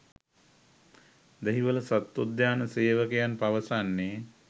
දෙහිවල සත්වෝද්‍යාන සේවකයන් පවසන්නේ